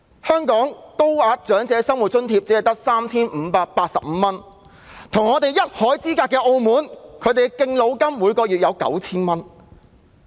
香港的高額長者生活津貼只有 3,585 元，但跟我們一海之隔的澳門，每月提供的敬老金為 9,000 澳門元。